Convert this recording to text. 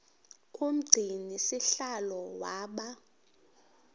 umgcini sihlalo waba